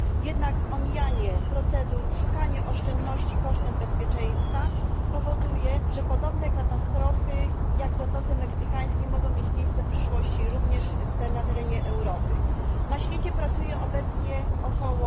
Jednak omijanie procedur, szukanie oszczędności kosztem bezpieczeństwa powoduje, że podobne katastrofy jak w Zatoce Meksykańskiej mogą mieć miejsce w przyszłości również na terenie Europy. Na świecie pracuje obecnie ok.